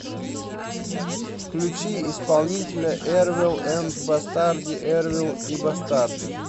включи исполнителя эрвел энд бастарди эрвел и бастарди